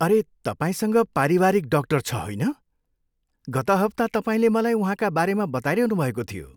अरे, तपाईँसँग पारिवारिक डाक्टर छ, होइन? गत हप्ता तपाईँले मलाई उहाँका बारेमा बताइरहनुभएको थियो।